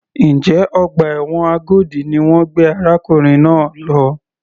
Njẹ́ ọgbà ẹ̀wọ̀n Agodi ni wọ́n gbé arákùnrin náà lọ?